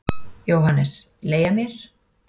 JÓHANNES: Leigja mér?